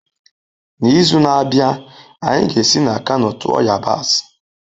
N'izu na-abịa, anyị ga-esi na Kano tụọ yabasị